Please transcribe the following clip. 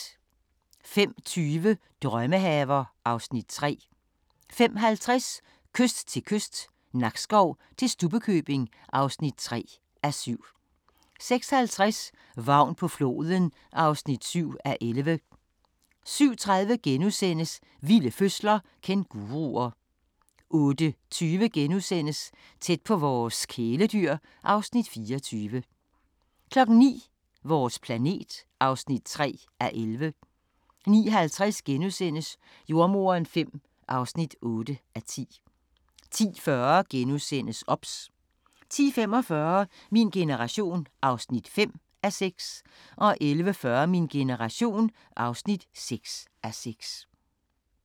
05:20: Drømmehaver (Afs. 3) 05:50: Kyst til kyst – Nakskov til Stubbekøbing (3:7) 06:50: Vagn på floden (7:11) 07:30: Vilde fødsler – Kænguruer * 08:20: Tæt på vores kæledyr (Afs. 24)* 09:00: Vores planet (3:11) 09:50: Jordemoderen V (8:10)* 10:40: OBS * 10:45: Min generation (5:6) 11:40: Min generation (6:6)